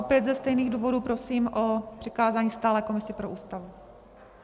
Opět ze stejných důvodů prosím o přikázání stálé komisi pro Ústavu.